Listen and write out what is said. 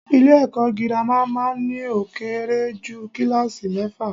Ilé èko girama má a n ní ó kéré jù kíláàsi méfà